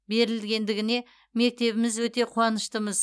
берілгендігіне мектебіміз өте қуаныштымыз